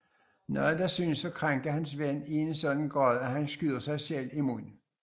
Noget der synes at krænke hans ven i en sådan grad at han skyder sig selv i munden